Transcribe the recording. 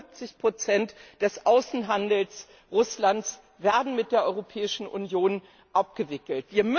75 des Außenhandels Russlands werden mit der Europäischen Union abgewickelt.